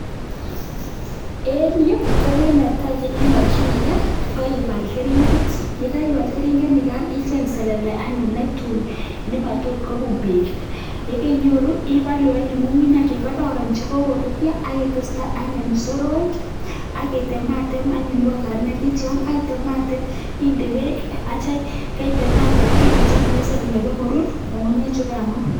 eng yu kogei nemakchinike koipal keringet icheng selele netui nemachute peek akipalu anyun nyukunyek chekoron chekokoruryo akiteste soroek icheng sokek item atem akinde pek akikonor kururyo.